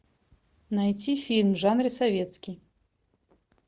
найти фильм в жанре советский